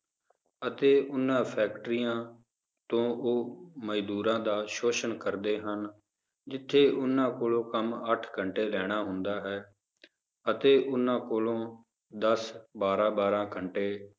ਅਤੇ ਉਹਨਾਂ ਫੈਕਟਰੀਆਂ ਤੋਂ ਉਹ ਮਜ਼ਦੂਰਾਂ ਦਾ ਸ਼ੋਸ਼ਣ ਕਰਦੇ ਹਨ, ਜਿੱਥੇ ਉਹਨਾਂ ਕੋਲੋਂ ਕੰਮ ਅੱਠ ਘੰਟੇ ਲੈਣਾ ਹੁੰਦਾ ਹੈ ਅਤੇ ਉਹਨਾਂ ਕੋਲੋਂ ਦਸ ਬਾਰਾਂ ਬਾਰਾਂ ਘੰਟੇ